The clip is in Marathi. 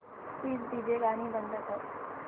प्लीज डीजे गाणी बंद कर